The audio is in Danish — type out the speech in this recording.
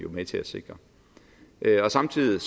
med til at sikre samtidig